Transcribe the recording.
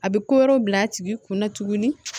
A bɛ ko wɛrɛw bila a tigi kun na tuguni